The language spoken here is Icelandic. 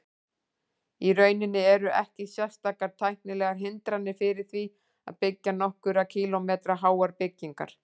Í rauninni eru ekki sérstakar tæknilegar hindranir fyrir því að byggja nokkurra kílómetra háar byggingar.